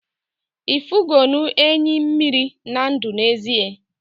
ifunugo enyi mmiri na ndu n'ezie?